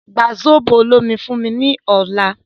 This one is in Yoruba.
Gba zobo olomi fún mí ní ọ̀la